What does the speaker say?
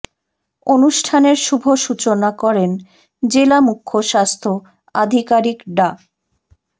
অনুষ্ঠানের শুভ সূচনা করেন জেলা মুখ্য স্বাস্থ্য আধিকারিক ডা